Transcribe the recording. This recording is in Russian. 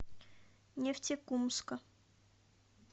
нефтекумска